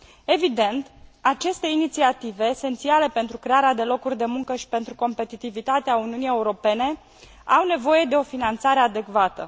Evident, aceste inițiative esențiale pentru crearea de locuri de muncă și pentru competitivitatea Uniunii Europene au nevoie de o finanțare adecvată.